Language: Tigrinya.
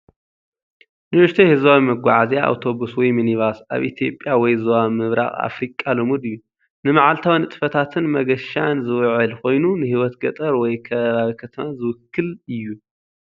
ንእሽቶይ ህዝባዊ መጓዓዝያ ኣውቶቡስ ወይ ሚኒባስ፡ ኣብ ኢትዮጵያ ወይ ዞባ ምብራቕ ኣፍሪቃ ልሙድ እዩ። ንመዓልታዊ ንጥፈታትን መገሻን ዝውዕል ኮይኑ፡ ንህይወት ገጠር ወይ ከባቢ ከተማ ዝውክል እዩ።